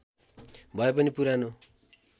भए पनि पुरानो